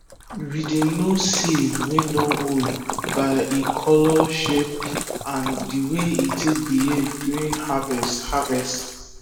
we dey know seed wey dun old by e color shape and the way e take behave during harvest harvest